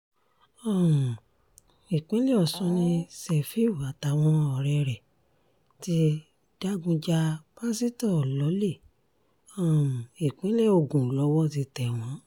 um ìpínlẹ̀ ọ̀sùn ni sefiu àtàwọn ọ̀rẹ́ rẹ̀ ti digun ja pásítọ̀ lọ́lẹ̀ um ìpínlẹ̀ ogun lowó ti tẹ̀ wọ́n